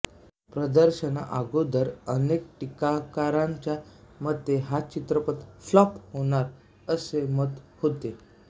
प्रदर्शनाआगोदर अनेक टीकाकारांच्या मते हा चित्रपट फ्लॉप होणार असे मत होते